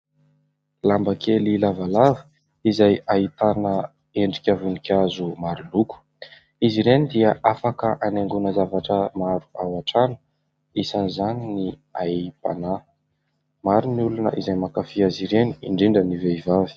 Lamba kely lavalava izay ahitana endrika voninkazo maro loko. Izy ireny dia afaka hanaingona zavatra maro ao an-trano, isan'izany ny aim-panahy. Maro ny olona izay mankafy azy ireny indrindra ny vehivavy.